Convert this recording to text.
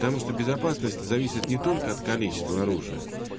потому что безопасность зависит не только от количества оружия